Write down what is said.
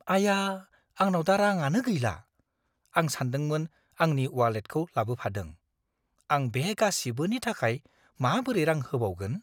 आया! आंनाव दा राङानो गैला, आं सानदोंमोन आं आंनि वालेटखौ लाबोफादों। आं बे गासिबोनि थाखाय माबोरै रां होबावगोन?